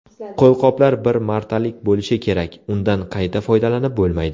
Qo‘lqoplar bir martalik bo‘lishi kerak, undan qayta foydalanib bo‘lmaydi.